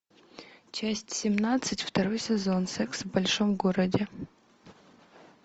часть семнадцать второй сезон секс в большом городе